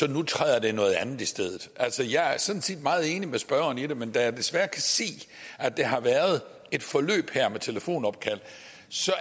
at nu træder der noget andet i stedet altså jeg er sådan set meget enig med spørgeren i det men da jeg desværre kan se at der har været et forløb her med telefonopkald